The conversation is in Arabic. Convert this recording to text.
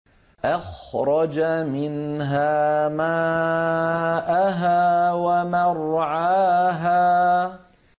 أَخْرَجَ مِنْهَا مَاءَهَا وَمَرْعَاهَا